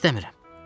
İstəmirəm.